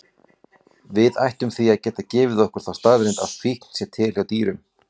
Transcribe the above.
Við ættum því að geta gefið okkur þá staðreynd að fíkn sé til hjá dýrum.